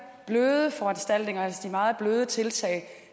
bløde foranstaltninger altså de meget bløde tiltag